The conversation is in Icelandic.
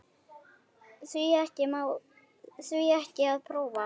Því ekki að prófa?